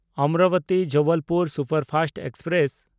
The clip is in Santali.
ᱚᱢᱨᱟᱵᱚᱛᱤ–ᱡᱚᱵᱚᱞᱯᱩᱨ ᱥᱩᱯᱟᱨᱯᱷᱟᱥᱴ ᱮᱠᱥᱯᱨᱮᱥ